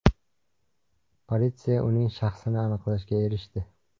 Politsiya uning shaxsini aniqlashga erishdi.